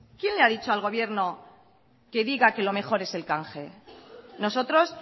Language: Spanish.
quién le ha dicho al gobierno que diga que lo mejor es el canje nosotros